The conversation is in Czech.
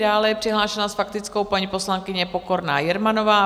Dále je přihlášena s faktickou paní poslankyně Pokorná Jermanová.